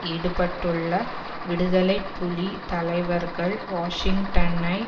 ஈடுபட்டுள்ள விடுதலை புலி தலைவர்கள் வாஷிங்டனை